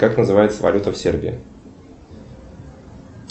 как называется валюта в сербии